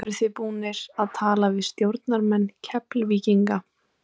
Eru þið búnir að tala við stjórnarmenn Keflvíkinga?